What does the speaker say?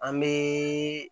An bɛ